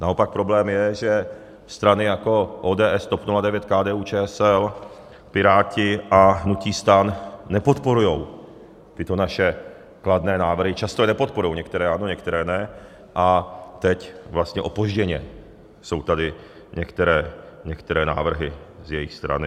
Naopak problém je, že strany jako ODS, TOP 09, KDU-ČSL, Piráti a hnutí STAN nepodporují tyto naše kladné návrhy, často je nepodporují, některé ano, některé ne, a teď vlastně opožděně jsou tady některé návrhy z jejich strany.